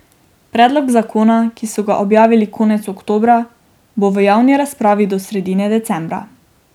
Predlog zakona, ki so ga objavili konec oktobra, bo v javni razpravi do sredine decembra.